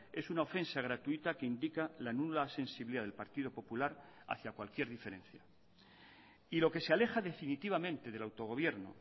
es una ofensa gratuita que indica la nula sensibilidad del partido popular hacia cualquier diferencia y lo que se aleja definitivamente del autogobierno